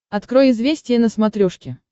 открой известия на смотрешке